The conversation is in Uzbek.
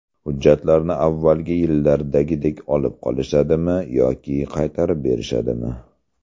Hujjatlarni avvalgi yillardagidek olib qolishadimi yoki qaytarib berishadimi?